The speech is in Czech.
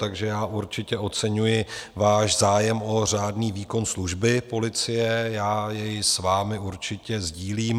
Takže já určitě oceňuji váš zájem o řádný výkon služby policie, já jej s vámi určitě sdílím.